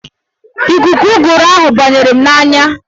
Ikuku ụgụrụ ahụ banyere m n'anya